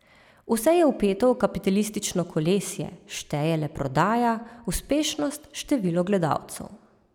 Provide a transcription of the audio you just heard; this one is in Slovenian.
Vse je vpeto v kapitalistično kolesje, šteje le prodaja, uspešnost, število gledalcev.